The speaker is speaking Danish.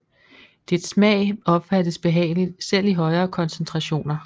Dets smag opfattes behageligt selv i højere koncentrationer